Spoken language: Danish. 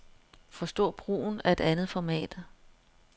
Forstå brugen af et andet format.